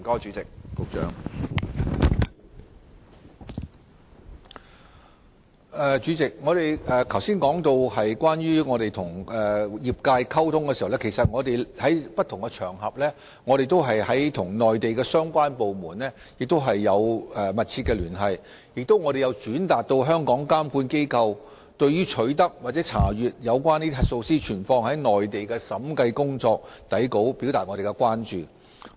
主席，正如我剛才所說，在我們與業界溝通方面，我們曾在不同場合與內地相關部門密切聯繫，並曾轉達香港監管機構對取得或查閱核數師存放於內地的審計工作底稿的關注。